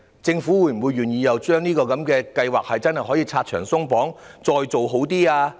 政府是否願意為這項計劃拆牆鬆綁，加以完善？